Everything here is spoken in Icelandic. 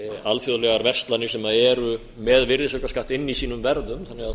alþjóðlegar verslanir sem eru með virðisaukaskatti inni í sínum verðum